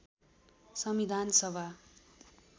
संविधान सभा